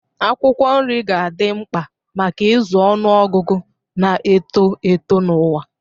Akwụkwọ nri ga-adị mkpa maka ịzụ ọnụ ọgụgụ na-eto eto n'ụwa.